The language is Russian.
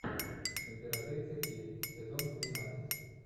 императрица ки сезон тринадцать